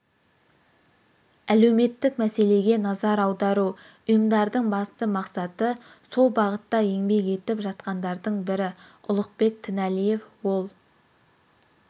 әлеуметтік мәселеге назар аудару ұйымдардың басты мақсаты сол бағытта еңбек етіп жатқандардың бірі ұлықбек тінәлиев ол